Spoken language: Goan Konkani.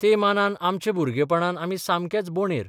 ते मानान आमचे भुरगेपणांत आमी साकमेक बॉडेर.